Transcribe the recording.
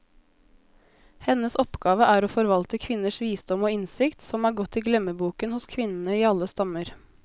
Hennes oppgave er å forvalte kvinners visdom og innsikt, som er gått i glemmeboken hos kvinnene i alle stammer.